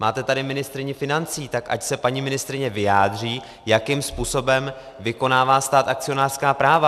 Máte tady ministryni financí, tak ať se paní ministryně vyjádří, jakým způsobem vykonává stát akcionářská práva.